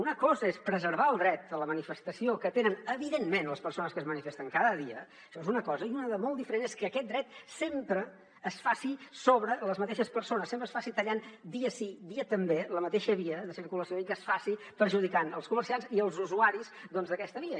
una cosa és preservar el dret a la manifestació que tenen evidentment les persones que es manifesten cada dia això és una cosa i una de molt diferent és que aquest dret sempre es faci sobre les mateixes persones sempre es faci tallant dia sí dia també la mateixa via de circulació i que es faci perjudicant els comerciants i els usuaris d’aquesta via